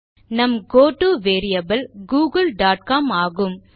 நம் கோட்டோ variable Google dot com ஆகும்